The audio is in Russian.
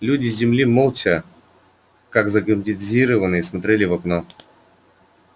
люди с земли молча как загипнотизированные смотрели в окно